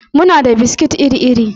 Muna da biskit iri-iri.